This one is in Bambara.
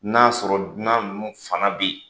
N'a sɔrɔ dunan ninnu fana bɛ yen.